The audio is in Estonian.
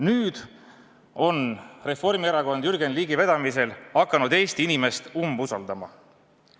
Nüüd on Reformierakond Jürgen Ligi vedamisel hakanud Eesti inimest umbusaldama.